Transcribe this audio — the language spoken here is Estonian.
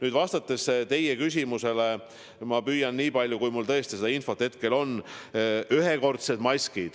Mis puutub teie küsimusse, siis ma püüan vastata, nii palju kui mul seda infot hetkel on.